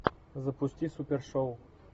запусти супершоу